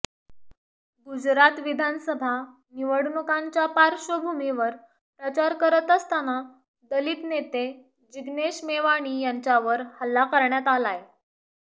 गुजरात विधानसभा निवडणुकांच्या पार्श्वभूमीवर प्रचार करत असताना दलित नेते जिग्नेश मेवाणी यांच्यावर हल्ला करण्यात आलाय